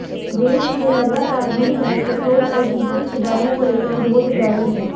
देश में लगातार बढ़ रहे पेट्रोल और डीजल के दामों लेकर विरोध जारी है